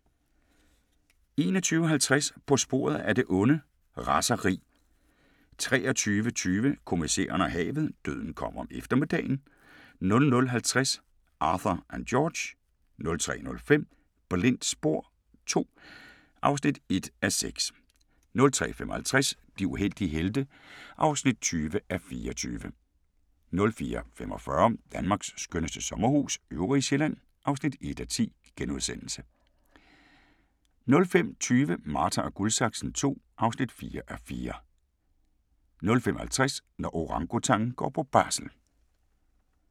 21:50: På sporet af det onde: Raseri 23:20: Kommissæren og havet: Døden kom om eftermiddagen 00:50: Arthur & George 03:05: Blindt spor II (1:6) 03:55: De uheldige helte (20:24) 04:45: Danmarks skønneste sommerhus – Øvrige Sjælland (1:10)* 05:20: Marta & Guldsaksen II (4:4) 05:50: Når orangutangen går på barsel